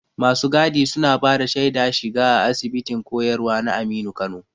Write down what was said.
Masu gadi suna bada shaida shiga a Asibitin koyarwa na Aminu Kano.